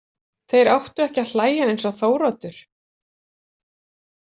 Þeir áttu ekki að hlæja eins og Þóroddur.